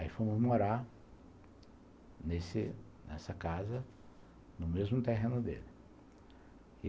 Aí fomos morar nessa casa, no mesmo terreno dele.